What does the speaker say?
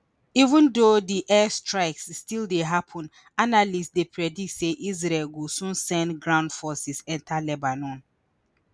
even though di air strikes still dey happun analysts dey predict say israel go soon send ground forces enta lebanon